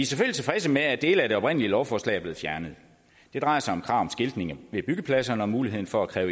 tilfredse med at dele af det oprindelige lovforslag er blevet fjernet det drejer sig om krav om skiltning ved byggepladserne og muligheden for at kræve